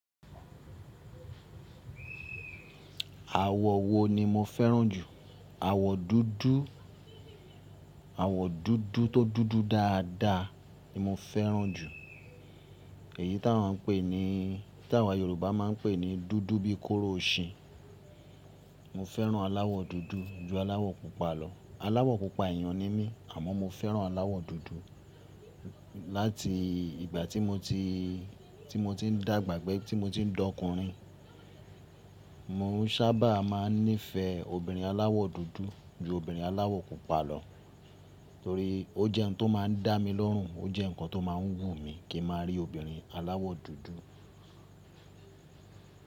Àwọ̀ wo ni mo fẹ́ràn jù? Àwọ̀ dúdú, àwọ̀ dúdú tó dúdú dáadáa ni mo fẹ́ràn jù. Èyí tí àwọn ń pè ní, tí àwa Yorùbá máa ń pè ní dúdú bí kóró oṣin. Mo fẹ́ràn aláwọ̀ dúdú ju aláwọ̀ pupa lọ. Aláwọ̀ pupa èèyàn ni mí àmọ́ mo fẹ́ràn aláwọ̀ dúdú. Láti ìgbà tí mo ti, tí mo ti ń dàgbà gbé, tí mo ti ń dọkùnrin, mo sábà máa ń nífẹ̀ẹ́ obìnrin aláwọ̀ dúdú ju obìnrin aláwọ̀ pupa lọ torí ó jẹ́ ohun tó máa ń dá mi lọ́rùn, ó jẹ́ nǹkan tó máa ń wù mí kí n máa rí obìnrin aláwọ̀ dúdú.